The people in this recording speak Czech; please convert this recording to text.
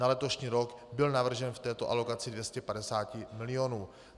Na letošní rok byl navržen v této alokaci 250 milionů.